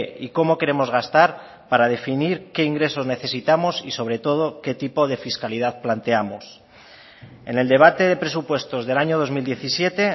y cómo queremos gastar para definir qué ingresos necesitamos y sobre todo qué tipo de fiscalidad planteamos en el debate de presupuestos del año dos mil diecisiete